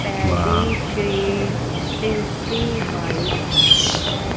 pedigree tasty bite पे--